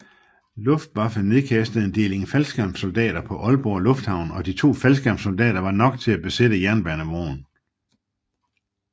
Luftwaffe nedkastede en deling faldskærmssoldater på Aalborg Lufthavn og to faldskærmssoldater var nok til at besætte jernbanebroen